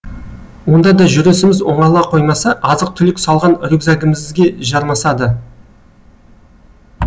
онда да жүрісіміз оңала қоймаса азық түлік салған рюкзагімізге жармасады